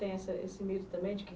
Tem essa esse medo também de que